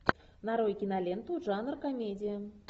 нарой киноленту жанр комедия